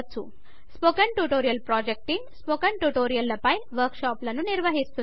spoken tutorial project team spoken tutorial ల పైన work షాపులను నిర్వహిస్తుంది